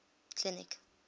clinic